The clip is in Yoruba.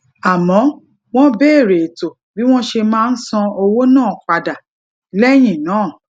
àmó wón beere ètò bí wón ṣe máa san owó náà padà léyìn náà